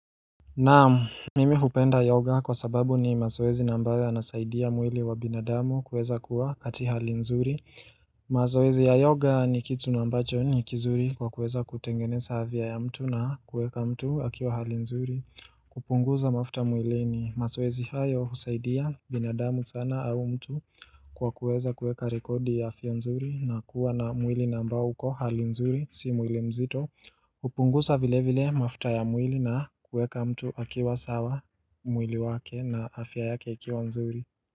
Naam, mimi hupenda yoga kwa sababu ni mazoezi na ambayo anasaidia mwili wa binadamu kuweza kuwa kati hali nzuri mazoezi ya yoga ni kitu nambacho ni kizuri kwa kuweza kutengeneza afya ya mtu na kueka mtu akiwa hali nzuri kupunguza mafuta mwili ni mazoezi hayo husaidia binadamu sana au mtu Kwa kuweza kueka rekodi ya afya nzuri na kuwa na mwili na ambao uko hali nzuri si mwili mzito upunguza vile vile mafuta ya mwili na kueka mtu akiwa sawa mwili wake na afya yake ikiwa nzuri.